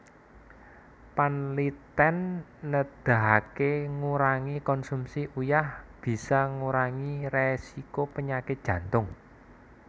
Panlitèn nedahaké ngurangi konsumsi uyah bisa ngurangi résiko penyakit Jantung